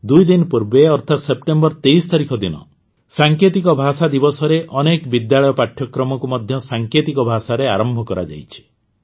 ଦୁଇ ଦିନ ପୂର୍ବେ ଅର୍ଥାତ ସେପ୍ଟେମ୍ବର ୨୩ ତାରିଖ ଦିନ ସାଙ୍କେତିକ ଭାଷା ଦିବସରେ ଅନେକ ବିଦ୍ୟାଳୟ ପାଠ୍ୟକ୍ରମକୁ ମଧ୍ୟ ସାଙ୍କେତିକ ଭାଷାରେ ଆରମ୍ଭ କରାଯାଇଛି